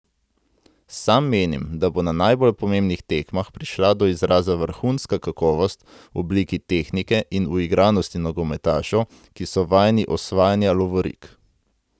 Sam menim, da bo na najbolj pomembnih tekmah prišla do izraza vrhunska kakovost v obliki tehnike in uigranosti nogometašev, ki so vajeni osvajanja lovorik.